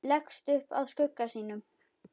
Leggst upp að skugga sínum.